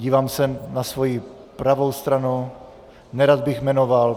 Dívám se na svou pravou stranu, nerad bych jmenoval.